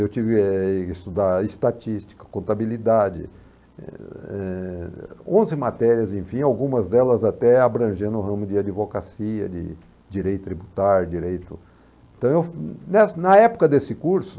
Eu tive, eh, que estudar estatística, contabilidade, eh, onze matérias, enfim, algumas delas até abrangendo o ramo de advocacia, de direito tributário, direito... Então, nessa na época desse curso...